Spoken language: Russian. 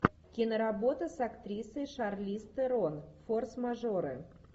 киноработа с актрисой шарлиз терон форс мажоры